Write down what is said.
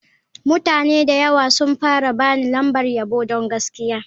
Mutane da yawa sun fara ba ni lambar yabo don gaskiya.